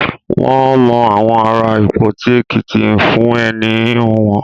Wọ́n mọ àwọn ará Ìpoti Èkìtì fún ẹní híhun wọn.